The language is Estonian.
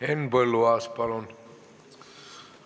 Henn Põlluaas, palun!